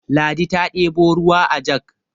ladi ta ɗebo ruwa ajag